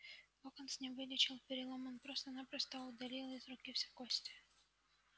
локонс не вылечил перелом он просто-напросто удалил из руки все кости